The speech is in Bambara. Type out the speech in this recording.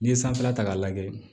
N'i ye sanfɛla ta k'a lajɛ